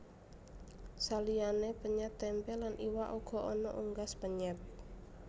Saliyané penyèt tempé lan iwak uga ana unggas penyèt